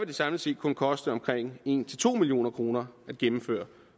det samlet set kun koste omkring en to million kroner at gennemføre